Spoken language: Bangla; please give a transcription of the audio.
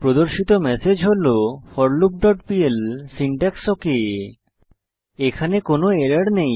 প্রদর্শিত ম্যাসেজ হল forloopপিএল সিনট্যাক্স ওক এখানে কোনো এরর নেই